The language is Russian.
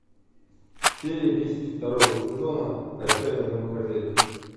серия десять второго сезона отчаянные домохозяйки